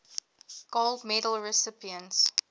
gold medal recipients